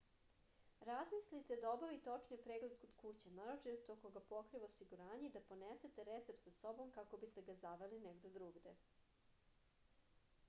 razmislite da obavite očni pregled kod kuće naročito ako ga pokriva osiguranje i da ponesete recept sa sobom kako biste ga zaveli negde drugde